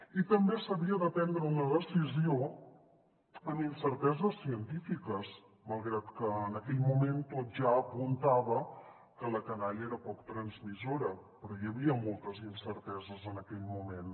i també s’havia de prendre una decisió amb incerteses científiques malgrat que en aquell moment tot ja apuntava que la canalla era poc transmissora però hi havia moltes incerteses en aquell moment